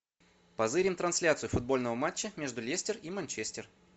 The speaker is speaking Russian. позырим трансляцию футбольного матча между лестер и манчестер